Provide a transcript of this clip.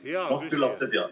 Hea küsija, palun küsimus!